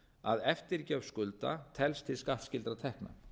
að eftirgjöf skulda telst til skattskyldra tekna